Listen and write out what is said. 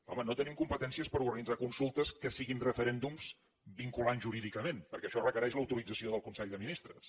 home no tenim competències per organitzar consultes que siguin referèndums vinculants jurídicament perquè això requereix l’autorització del consell de ministres